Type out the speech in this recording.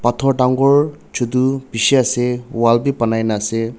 phator dangor chutu bishi ase wall bi banai na ase.